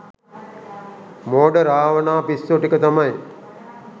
මෝඩ රාවණා පිස්සො ටික තමයි